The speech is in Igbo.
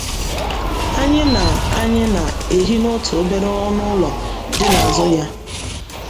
Anyị na - Anyị na - ehi n’otu obere ọnụ ụlọ dị n’azụ ya.